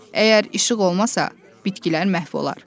Əgər işıq olmasa, bitkilər məhv olar.